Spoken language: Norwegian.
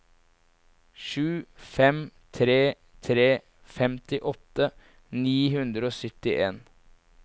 sju fem tre tre femtiåtte ni hundre og syttien